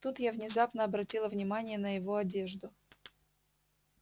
тут я внезапно обратила внимание на его одежду